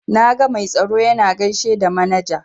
Na ga mai tsaro yana gaishe da manaja.